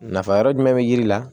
Nafa yɔrɔ jumɛn be yiri la